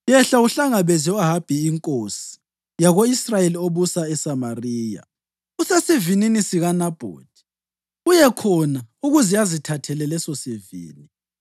“Yehla uyehlangabeza u-Ahabi inkosi yako-Israyeli obusa eSamariya. Usesivinini sikaNabhothi, uye khona ukuze azithathele lesosivini.